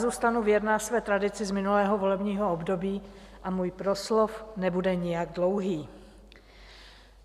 Zůstanu věrná své tradici z minulého volebního období a můj proslov nebude nijak dlouhý.